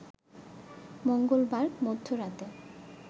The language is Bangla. মঙ্গলবার মধ্যরাতে